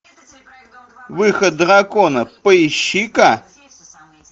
выход дракона поищи ка